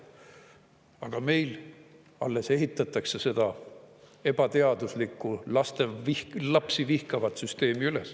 Aga meil alles ehitatakse seda ebateaduslikku, lapsi vihkavat süsteemi üles.